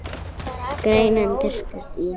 Greinin birtist í